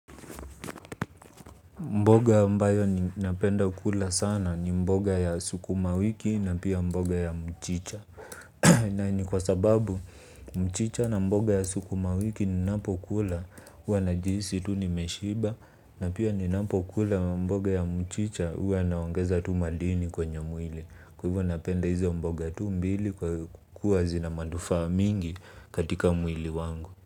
Mboga ambayo ninapenda kula sana ni mboga ya sukuma wiki na pia mboga ya mchicha. Nani kwa sababu mchicha na mboga ya suku mawiki ni napo ukula. Huwa na jihisi tu ni meshiba na pia ni napo kula mboga ya mchicha. Huwa naongeza tu madini kwenye mwili. Kwa hivyo napenda hizo mboga tu mbili kwa kuwua zina manufaa mingi katika mwili wangu.